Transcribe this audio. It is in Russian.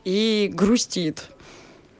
и грустит